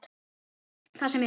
Það sem er.